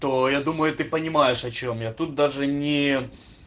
я думаю ты понимаешь о чем я тут даже не